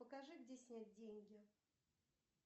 покажи где снять деньги